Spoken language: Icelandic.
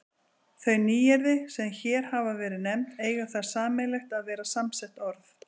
Þau nýyrði, sem hér hafa verið nefnd, eiga það sameiginlegt að vera samsett orð.